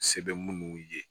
Sɛbɛn munnu ye